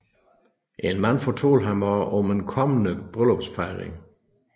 En mand fortalte ham også om en kommende bryllupsfejring